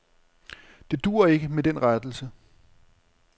Det duer ikke med den rettelse.